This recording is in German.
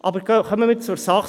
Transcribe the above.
Aber kommen wir zur Sache.